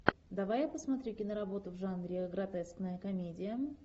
давай я посмотрю киноработу в жанре гротескная комедия